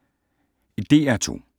DR2